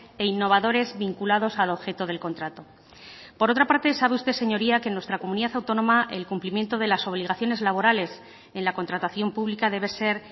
e innovadores vinculados al objeto del contrato por otra parte sabe usted señoría que en nuestra comunidad autónoma el cumplimiento de las obligaciones laborales en la contratación pública debe ser